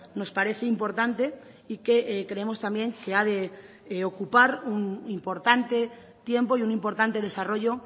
nos parece importante y que creemos también que ha de ocupar un importante tiempo y un importante desarrollo